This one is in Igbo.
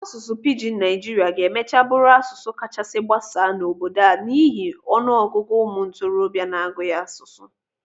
Asụsụ Pijin Naijiria ga-emachaa bụrụ asụsụ kachasị gbasaa n'obodo a n'ihi ọnụ ọgụgụ ụmụ ntorobịa n'asụ ya asụsụ.